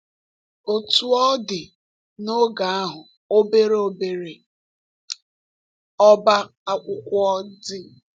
Otú ọ dị, n’oge ahụ, obere obere ọ́bá akwụkwọ dị.